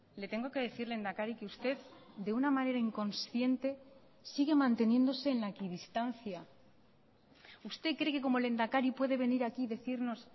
le tengo que decir lehendakari que usted de una manera inconsciente sigue manteniéndose en la equidistancia usted cree que como lehendakari puede venir aquí y decirnos